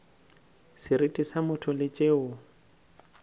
seriti sa motho le tšeo